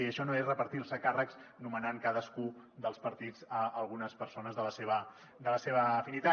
i això no és repartir se càrrecs nomenant cadascú dels partits a algunes persones de la seva afinitat